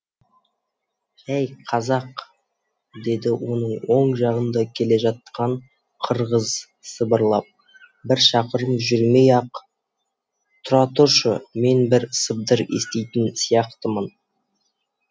ей қазақ деді оның оң жағында келе жатқан қырғыз сыбырлап бір шақырым жүрмей ақ тұра тұршы мен бір сыбдыр еститін сияқтымын